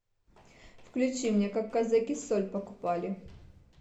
включи мне как казаки соль покупали